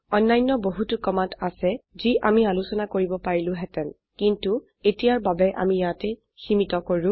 অন্যান্য বহুতু কমান্ড আছে যি আমি আলোচনা কৰিব পাৰিলো হেতেন কিন্তো এতিয়াৰ বাবে আমি ইয়াতে সীমীত কৰো